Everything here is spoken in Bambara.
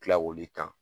Tila k'olu ta